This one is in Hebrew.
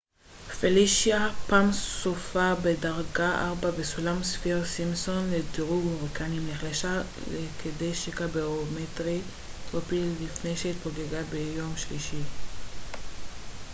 פלישיה פעם סופה בדרגה 4 בסולם ספיר-סימפסון לדירוג הוריקנים נחלשה לכדי שקע ברומטרי טרופי לפני שהתפוגגה ביום שלישי